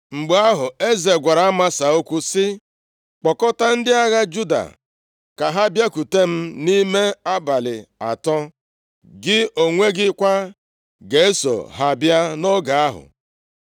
Mgbe ahụ, eze gwara Amasa okwu sị, “Kpokọta ndị agha Juda ka ha bịakwute m nʼime abalị atọ. Gị onwe gị kwa ga-eso ha bịa nʼoge ahụ.”